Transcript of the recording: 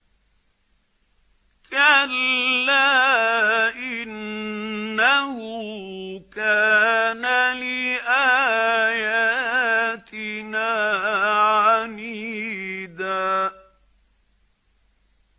كَلَّا ۖ إِنَّهُ كَانَ لِآيَاتِنَا عَنِيدًا